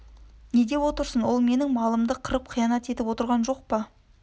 не деп отырсың ол менің малымды қырып қиянат етіп отырған жоқ па